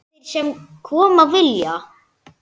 Komi þeir sem koma vilja-?